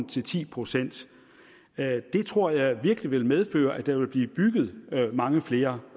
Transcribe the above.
til ti procent det tror jeg virkelig vil medføre at der vil blive bygget mange flere